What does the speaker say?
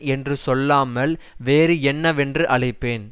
என்று சொல்லாமல் வேறு என்னவென்று அழைப்பேன்